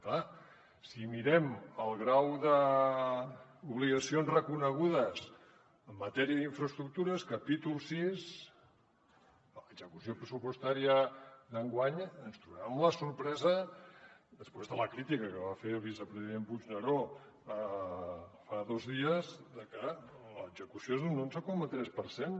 clar si mirem el grau d’obligacions reconegudes en matèria d’infraestructures capítol vi de l’execució pressupostària d’enguany ens trobarem amb la sorpresa després de la crítica que va fer el vicepresident puigneró fa dos dies de que l’execució és un onze coma tres per cent